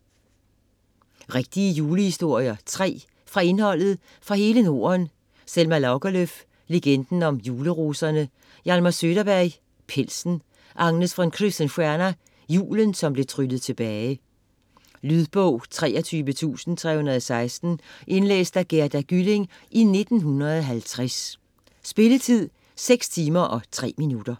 Rigtige julehistorier - 3 Fra indholdet: Fra hele Norden (Selma Lagerlöf: Legenden om juleroserne. Hjalmar Söderberg: Pelsen. Agnes von Krusenstjerna: Julen, som blev tryllet tilbage. Lydbog 23316 Indlæst af Gerda Gylling, 1950 Spilletid: 6 timer, 3 minutter.